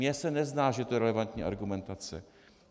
Mně se nezdá, že je to relevantní argumentace.